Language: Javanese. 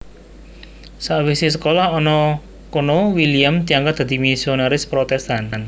Sakwisé sekolah ana kono William diangkat dadi misionaris Protestan